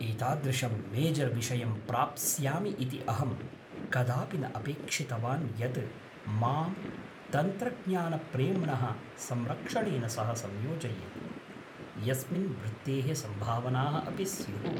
एतादृशं मेजर्विषयं प्राप्स्यामि इति अहं कदापि न अपेक्षितवान् यत् मां तन्त्रज्ञानप्रेम्णः संरक्षणेन सह संयोजयेत्, यस्मिन् वृत्तेः सम्भावनाः अपि स्युः।